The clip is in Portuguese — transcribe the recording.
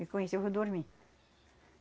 E com isso eu vou dormir.